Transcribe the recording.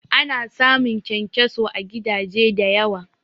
Ana samun kyankyaso à gidaje da yawa